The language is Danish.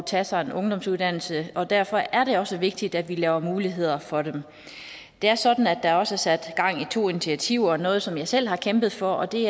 tage sig en ungdomsuddannelse og derfor er det også vigtigt at vi laver muligheder for dem det er sådan at der også er sat gang i to initiativer noget som jeg selv har kæmpet for og det